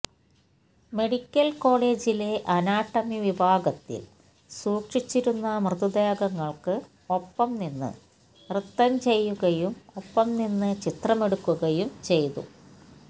medical കോളേജിലെ anatomy വിഭാഗത്തില് സൂക്ഷിച്ചിരുന്ന മൃതദേഹങ്ങള്ക്ക് ഒപ്പം നിന്ന് നൃത്തം ചെയ്യുകയും ഒപ്പം നിന്ന് ചിത്രമെടുക്കുകയും ചെയ്തു